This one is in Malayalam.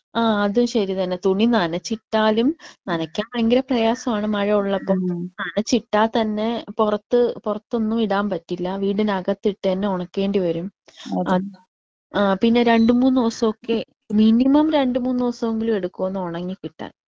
അതും ശരി തന്നെ തുണി നനചിട്ടാലും നനക്കാൻ ഭയങ്കര പ്രയാസമാണ് മഴ ഉള്ളപ്പോ. നനച്ചിട്ട തന്നെ പുറത്ത് പുറത്തൊന്നും ഇടാൻ പറ്റില്ല. വീടിന്റെ അകത്ത് ഇട്ട് തന്നെ ഉണക്കേണ്ടി വരും. പിന്നെ രണ്ടു മൂന്ന് ദിവസൊക്കെ മിനിമം രണ്ടു മൂന്ന് ദിവസൊങ്കിലും എടുക്കും ഒന്ന് ഒണങ്ങി കിട്ടാൻ.